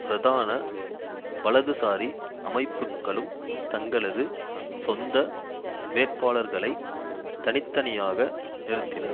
பிரதான வலதுசாரி அமைப்புக்களும் தங்களது சொந்த வேட்பாளர்களை தனி தனியாக நிறுத்தினர்